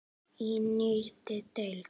Í nýrri deild.